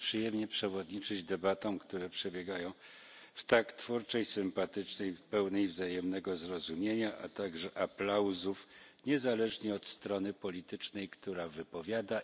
To jest przyjemnie przewodniczyć debatom, które przebiegają w tak twórczej, sympatycznej, pełnej wzajemnego zrozumienia atmosferze, a także aplauzów, niezależnie od strony politycznej, która się wypowiada.